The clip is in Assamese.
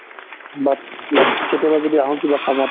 but like কেতিয়া যদি আহো কিবা কামত